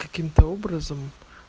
каким-то образом